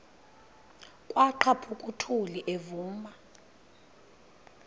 kwaqhaphuk uthuli evuma